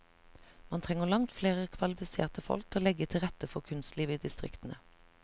Man trenger langt flere kvalifiserte folk til å legge til rette for kunstlivet i distriktene.